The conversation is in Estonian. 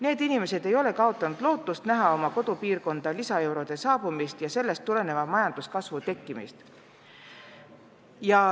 Need inimesed ei ole kaotanud lootust näha oma kodupiirkonda lisaeurode saabumist ja sellest tuleneva majanduskasvu tekkimist.